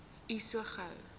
u so gou